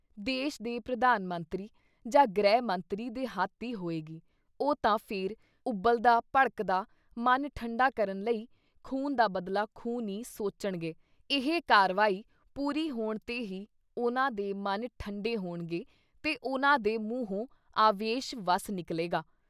ਦੇਸ਼ ਦੇ ਪ੍ਰਧਾਨ ਮੰਤਰੀ ਜਾਂ ਗ੍ਰਹਿ ਮੰਤਰੀ ਦੇ ਹੱਥ ਈ ਹੋਏਗੀ- ਉਹ ਤਾਂ ਫਿਰ ਉਬਲਦਾ, ਭੜਕਦਾ ਮਨ ਠੰਡਾ ਕਰਨ ਲਈ “ਖੂਨ ਦਾ ਬਦਲਾ ਖੂਨ” ਈ ਸੋਚਣਗੇ ਇਹ ਕਾਰਵਾਈ ਪੂਰੀ ਹੋਣ ਤੇ ਹੀ ਉਹਨਾਂ ਦੇ ਮਨ ਠੰਡੇ ਹੋਣਗੇ ਤੇ ਉਹਨਾਂ ਦੇ ਮੂੰਹੋ ਆਵੇਸ਼ ਵਸ ਨਿਕਲੇਗਾ।